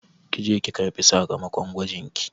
Ki je ki karɓi sakamakon gwajin ki